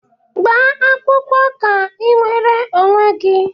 Gbaa akwụkwọ ka i nwere onwe gị!